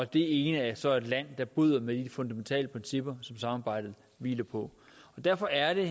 den ene så et land der bryder med de fundamentale principper som samarbejdet hviler på og derfor er det